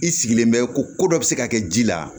I sigilen bɛ ko ko dɔ bɛ se ka kɛ ji la